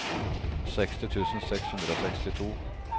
seksti tusen seks hundre og sekstito